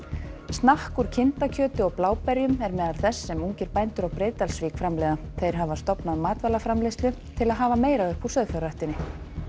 snakk úr kindakjöti og bláberjum er meðal þess sem ungir bændur á Breiðdalsvík framleiða þeir hafa stofnað matvælaframleiðslu til að hafa meira upp úr sauðfjárræktinni